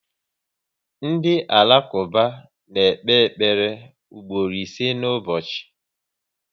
Ndị Alakuba na ekpe ekpere mgboro ise na ụbọchị